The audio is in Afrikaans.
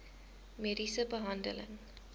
mediese behandeling